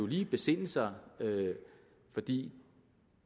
lige besinde sig fordi